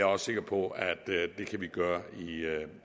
også sikker på at det kan vi gøre